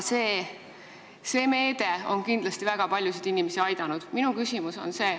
Kõnealune meede on kindlasti väga paljusid inimesi aidanud.